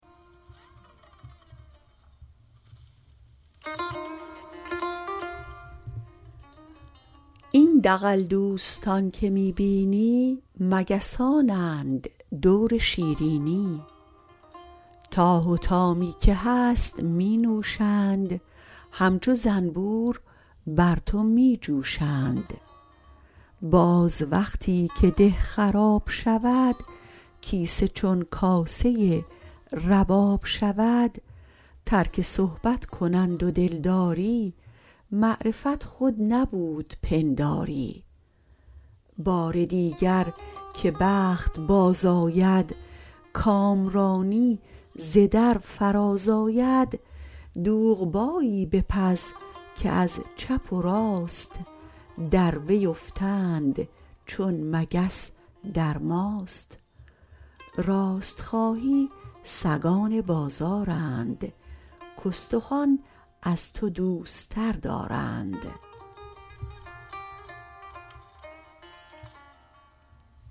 این دغل دوستان که می بینی مگسان اند دور شیرینی تا حطامی که هست می نوشند همچو زنبور بر تو می جوشند باز وقتی که ده خراب شود کیسه چون کاسه رباب شود ترک صحبت کنند و دلداری معرفت خود نبود پنداری بار دیگر که بخت باز آید کامرانی ز در فراز آید دوغبایی بپز که از چپ و راست در وی افتند چون مگس در ماست راست خواهی سگان بازارند کاستخوان از تو دوستر دارند